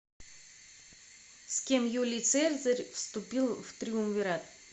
с кем юлий цезарь вступил в триумвират